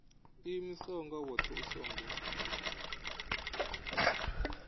ḓiimisaho nga woṱhe u songo